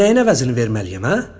Mən nəyin əvəzini verməliyəm, hə?